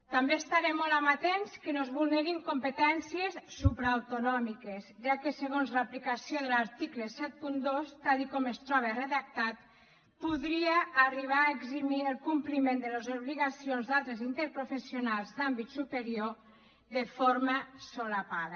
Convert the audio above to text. també estarem molt amatents que no es vulnerin competències supraautonòmiques ja que segons l’aplicació de l’article setanta dos tal com es troba redactat podria arribar a eximir el compliment de les obligacions d’altres interprofessionals d’àmbit superior de forma encoberta